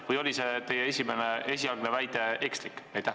Või oli teie esialgne väide ekslik?